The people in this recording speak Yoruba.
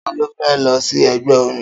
Ta ló fẹ́ lọ sí ẹgbẹ́ omi?